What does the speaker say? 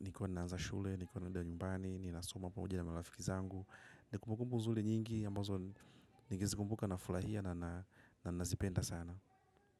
Nikuwa na nazashule. Nikuwa na ndia nyumbani. Nikuwa na suma pamoja na malafiki zangu. Nikumukumbu nzuli nyingi ambazo nikizikumbuka naifulahia. Na nazipenda sana.